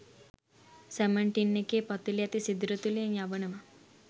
salmon tin එකේ පතුලේ ඇති සිදුර තුලින් යවනව